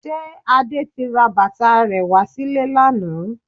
Ṣe Adé ti ra bàtà rẹ wá sílé lánàá?